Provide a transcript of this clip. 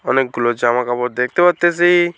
অনেকগুলো জামা কাপড় দেখতে পারতেসি।